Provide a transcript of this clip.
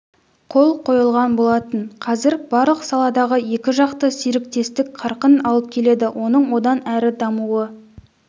қол қойылған болатын қазір барлық саладағы екіжақты серіктестік қарқын алып келеді оның одан әрі дамуы